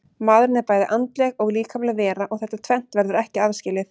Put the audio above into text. Maðurinn er bæði andleg og líkamleg vera og þetta tvennt verður ekki aðskilið.